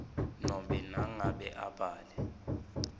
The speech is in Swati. nobe nangabe abhale